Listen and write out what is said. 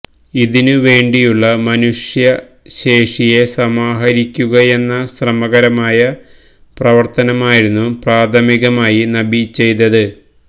ഇതിനു വേണ്ടിയുള്ള മനുഷ്യശേഷിയെ സമാഹരിക്കുകയെന്ന ശ്രമകരമായ പ്രവര്ത്തനമായിരുന്നു പ്രാഥമികമായി നബി ചെയ്തത്